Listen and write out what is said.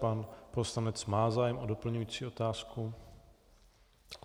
Pan poslanec má zájem o doplňující otázku?